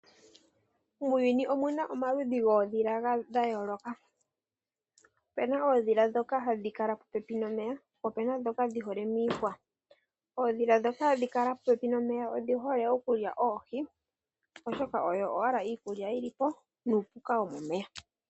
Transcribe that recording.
Muuyuni omuna omaludhi goodhila gayoloka. Opena odhila dhoka hadhi kala popepi nomeya. Po pena dhoka hadhi kala miihwa. Ooodhila dhoka hadhi kala popepi nomeya odhi hole okulya oohi. Oshoka oyo owala iikulya yili po nuupuka womomeya.